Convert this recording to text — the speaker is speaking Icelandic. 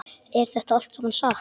Er þetta allt saman satt?